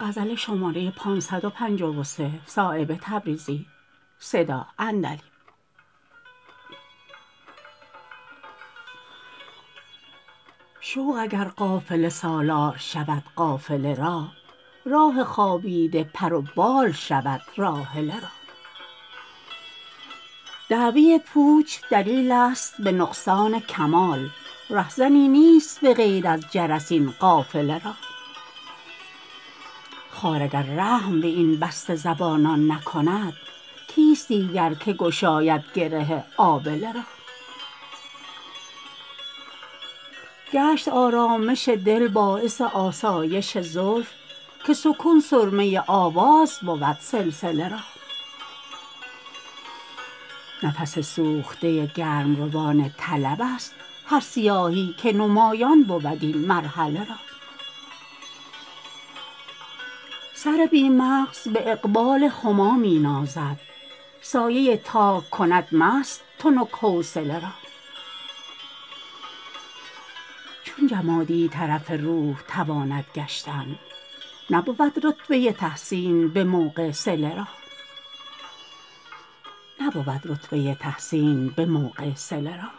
شوق اگر قافله سالار شود قافله را راه خوابیده پر و بال شود راحله را دعوی پوچ دلیل است به نقصان کمال رهزنی نیست به غیر از جرس این قافله را خار اگر رحم به این بسته زبانان نکند کیست دیگر که گشاید گره آبله را گشت آرامش دل باعث آسایش زلف که سکون سرمه آواز بود سلسله را نفس سوخته گرمروان طلب است هر سیاهی که نمایان بود این مرحله را سر بی مغز به اقبال هما می نازد سایه تاک کند مست تنک حوصله را چون جمادی طرف روح تواند گشتن نبود رتبه تحسین به موقع صله را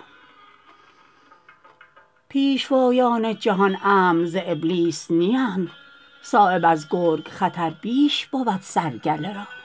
پیشوایان جهان امن از ابلیس نیند صایب از گرگ خطر بیش بود سر گله را